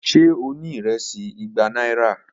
Ṣe o ni iresi igba aira?